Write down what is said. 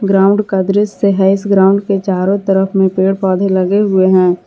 Ground का दृश्य है इस ग्राउंड के चारों तरफ में पेड़ पौधे लगे हुए हैं।